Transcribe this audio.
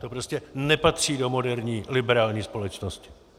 To prostě nepatří do moderní liberální společnosti.